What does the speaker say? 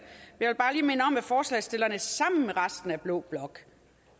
forslagsstillerne sammen med resten af blå blok